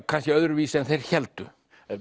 kannski öðruvísi en þeir héldu